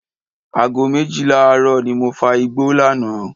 Aago méjìlá ààrọ́ ni mo fa igbó lánàá.